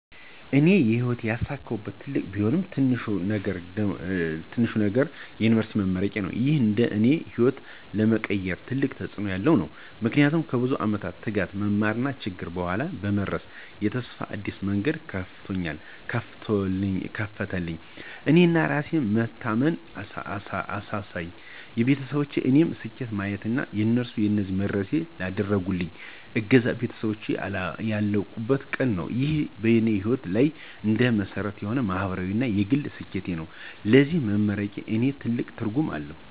እኔ በሕይወቴ ያሳካሁት ትልቅም ቢሆን ትንሽም ነገር የዩኒቨርሲቲ መመረቄዬ ነው። ይህ እንደ እኔ ሕይወት ለመቀየር ትልቅ ተጽእኖ ያለው ነው። ምክንያቱም ከብዙ ዓመት ትጋት፣ መማርና ችግር በኋላ በመድረስ የተስፋ አዲስ መንገድ ከፈተልኝ። የእኔ የራሴን መታመን አሳየኝ፣ ለቤተሰቤም የእኔን ስኬት ለማሳየት እና እነሱንም ለዚህ ለመድረሴ ላደረጉልኝ እገዛ ቤተሰቤን ያላቁበት ቀን ነው። ይህ በእኔ ሕይወት ላይ እንደ መሰረት የሆነ ማህበራዊ እና የግል ስኬቴ ነው። ስለዚህ መመረቄ ለእኔ ትልቅ ትርጉም አለው።